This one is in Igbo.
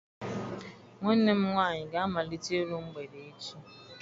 Nwanne m nwaanyị ga-amalite iru mgbede echi.